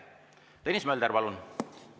Tõnis Mölder, palun!